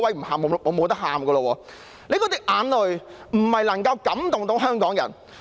林鄭月娥的眼淚不能感動香港人。